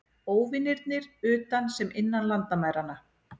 Óvinirnir utan sem innan landamæranna.